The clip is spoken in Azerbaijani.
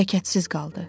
Hərəkətsiz qaldı.